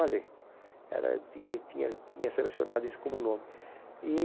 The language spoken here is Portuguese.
Olha, era tinha tinha tinha selecionado isso como nome.